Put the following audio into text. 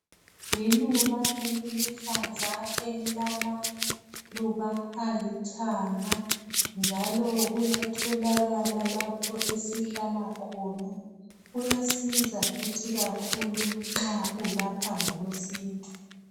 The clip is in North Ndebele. Liluba eliluhlaza elilamaluba alithanga njalo kuyatholakala lapho esihlala khona. Uyasiza futhi kakhulu nxa ulapha ngokwesintu.